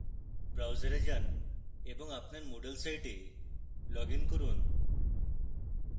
browser যান এবং আপনার moodle site লগইন করুন